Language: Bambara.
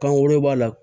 Kan wɛrɛ b'a la